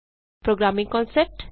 programming concept